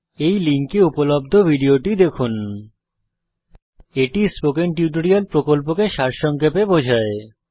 এই লিঙ্কে উপলব্ধ ভিডিও টি দেখুন httpspoken tutorialorgWhat is a spoken tutorial এটি স্পোকেন টিউটোরিয়াল প্রকল্পকে সারসংক্ষেপে বোঝায়